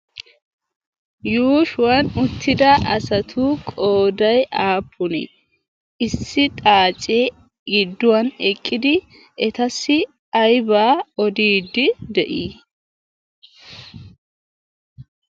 yuushuwan uttida asatu qoday aapuni issi xaacee gidduwan eqqidi etassi aybaa odiidi de'ii